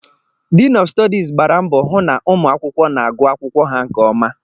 Diin ọf Stọdis gbara mbọ hụ na ụmụ akwụkwọ na agụ akwụkwọ ha nke ọma